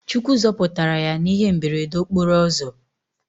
Chukwu zoputara ya na ihe mberede okporo ozo